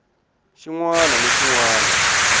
xin wana ni xin wana